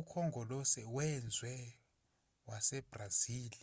ukhongolose wezwe wasebrazil